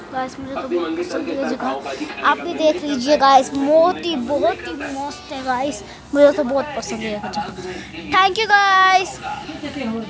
बस मेरे को बोहोत पसंद है आप भी देख लीजिए गाइस बोहोत ही बोहोत ही मस्त है गाइस मेरे को बोहत पसंद है ये जगह थैंक यू गाइस ।--